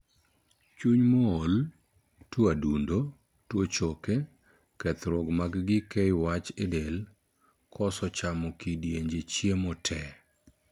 Chuny mool, tuo adundo, tuo choke, kethruok mag gii keyo wach e del, koso chamo kidienje chiemo tee